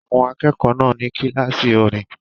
Àwọn akẹ́kọ̀ọ́ náà ní kíláàsì orin